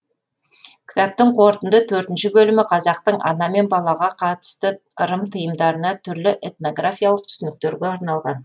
кітаптың қорытынды төртінші бөлімі қазақтың ана мен балаға қатысты ырым тыйымдарына түрлі этнографиялық түсініктерге арналған